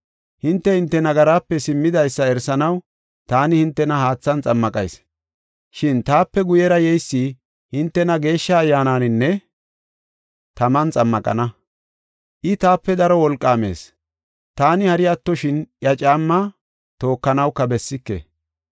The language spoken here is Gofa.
“Hinte, hinte nagaraape simmidaysa erisanaw taani hintena haathan xammaqayis. Shin taape guyera yeysi hintena Geeshsha Ayyaananinne taman xammaqana. I taape daro wolqaamees; taani hari attoshin iya caammaa tookanawuka bessike.